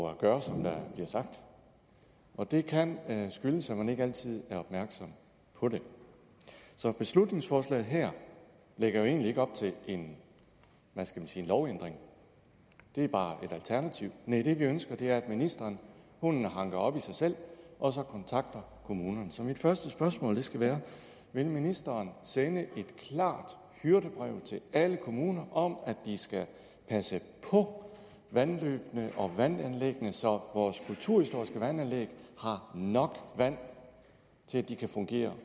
at gøre som der bliver sagt og det kan skyldes at man ikke altid er opmærksom på det så beslutningsforslaget her lægger jo egentlig ikke op til en lovændring det er bare et alternativ næh det vi ønsker er at ministeren hanker op i sig selv og kontakter kommunerne så mit første spørgsmål skal være vil ministeren sende et klart hyrdebrev til alle kommuner om at de skal passe på vandløbene og vandanlæggene så vores kulturhistoriske vandanlæg har nok vand til at de kan fungere